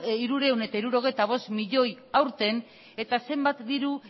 hirurehun eta hirurogeita bost milioi aurten eta zenbat diru